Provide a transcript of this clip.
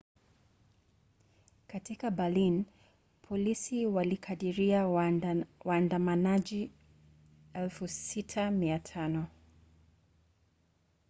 katika berlin polisi walikadiria waandamanaji 6,500